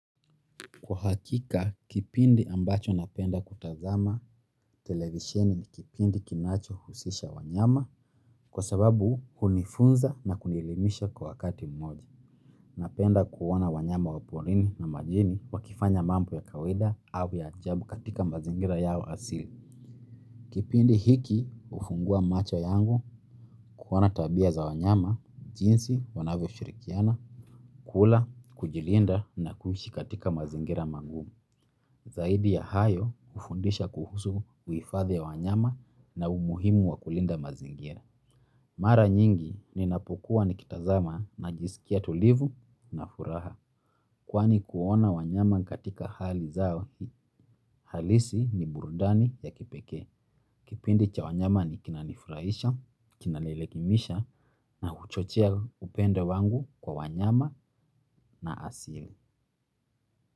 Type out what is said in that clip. Kwa hakika, kipindi ambacho napenda kutazama televisheni ni kipindi kinachohusisha wanyama kwa sababu hunifunza na kunielimisha kwa wakati mmoja. Napenda kuona wanyama wa porini na majini wakifanya mambo ya kawaida au ya ajabu katika mazingira yao asili. Kipindi hiki hufungua macho yangu kuona tabia za wanyama, jinsi wanavyoshirikiana, kula, kujilinda na kuishi katika mazingira magumu. Zaidi ya hayo hufundisha kuhusu uhifadhi ya wanyama na umuhimu wa kulinda mazingira. Mara nyingi ninapokuwa nikitazama najisikia tulivu na furaha. Kwani kuona wanyama katika hali zao halisi ni burudani ya kipekee. Kipindi cha wanyama kinanifurahisha kinaelimisha na huchochea upendo wangu kwa wanyama na asili.